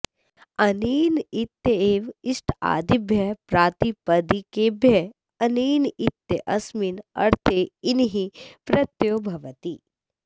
अनेन इत्येव इष्टादिभ्यः प्रातिपदिकेभ्यः अनेन इत्यस्मिन्नर्थे इनिः प्रत्ययो भवति